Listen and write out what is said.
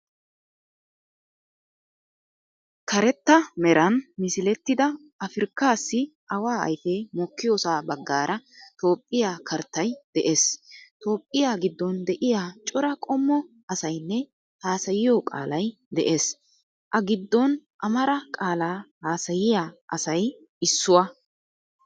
Kaaretta meeran miisiletida afirikkasi awa ayifee mookiyoosa baagara toophphiya kaarttayi de"ees. Toophphiyaa gidon de"iyaa cora qommo asayinne haasayiyo qaalayi de"ees. A giidon amaara qaala haasayiya asayi isuwaa.